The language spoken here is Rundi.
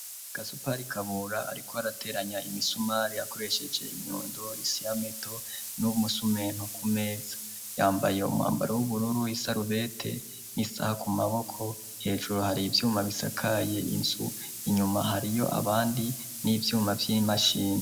Gasupa rikabura, ariko arateranya imisumari akoresheje inyundo isiyameto n'umusumento ku meza yambaye umwambaro w'ubururu isarubete n'isaha ku maboko hejuru hari ivyuma bisakaye insu inyuma hariyo abandi n'ivyuma vy'imashina.